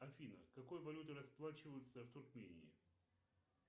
афина какой валютой расплачиваются в туркмении